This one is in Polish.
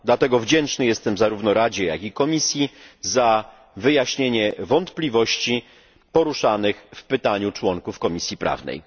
Dlatego wdzięczny jestem zarówno Radzie, jak i Komisji za wyjaśnienie wątpliwości poruszanych w pytaniu członków Komisji Prawnej.